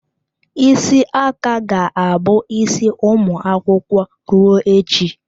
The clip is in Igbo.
Isi aka ga-abụ isi ụmụ akwụkwọ ruo echi.